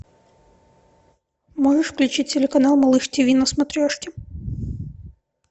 можешь включить телеканал малыш тиви на смотрешке